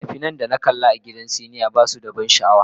Fina-finan da na kalla a gidan sinima ba su da ban sha'awa.